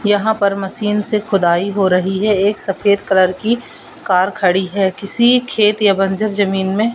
यहां पर मशीन से खुदाई हो रही है एक सफेद कलर की कार खड़ी है किसी खेत या बंजर जमीन में--